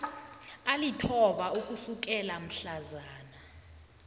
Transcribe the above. alithoba ukusukela mhlazana